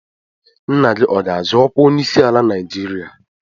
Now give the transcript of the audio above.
Nna gị ọ ga-azọ ọkwa onyeisiala Naijiria?